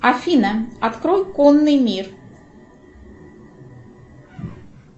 афина открой конный мир